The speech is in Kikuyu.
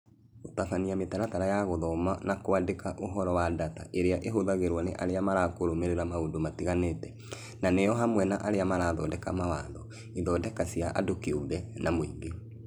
Gũtabania mĩtaratara ya gũthoma na kwandĩka ũhoro wa data ĩrĩa ĩhũthagĩrwo nĩ arĩa marakũrũmĩrĩra maũndũ matiganĩte, na nĩ hamwe na arĩa mathondekaga mawatho, ithondeka cia andũ kĩũmbe, na mũingĩ.